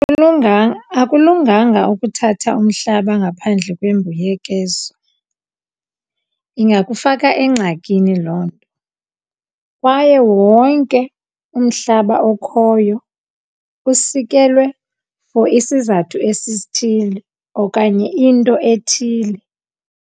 Akulunganga ukuthatha umhlaba ngaphandle kwembuyekezo, ingakufaka engxakini loo nto. Kwaye wonke umhlaba okhoyo usikelwe for isizathu esithile okanye into ethile.